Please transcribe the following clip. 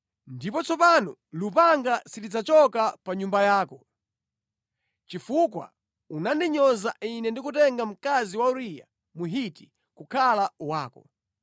Ndipo tsopano lupanga silidzachoka pa nyumba yako, chifukwa unandinyoza ine ndi kutenga mkazi wa Uriya Mhiti kukhala wako.’